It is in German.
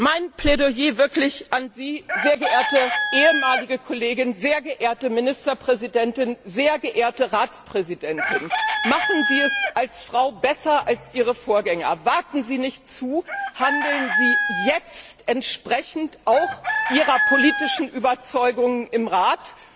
Mein Plädoyer an Sie, sehr geehrte ehemalige Kollegin, sehr geehrte Ministerpräsidentin, sehr geehrte Ratspräsidentin Machen Sie es als Frau besser als Ihre Vorgänger. Warten Sie nicht, handeln Sie jetzt auch entsprechend Ihrer politischen Überzeugung im Rat.